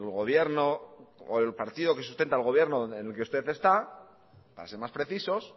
el partido que sustenta al gobierno en que usted está para ser más precisos